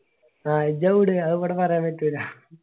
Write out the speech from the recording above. ആയിജ്ജ വിട് ആത് ഇവിടെ പറയാൻ പറ്റൂല്ല